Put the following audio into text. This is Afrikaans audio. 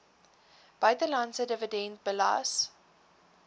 buitelandse dividend belas